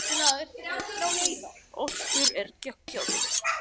Fyrir flest svarthol er þessi geislun hverfandi.